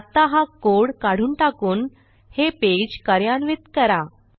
आत्ता हा कोड काढून टाकून हे पेज कार्यान्वित करा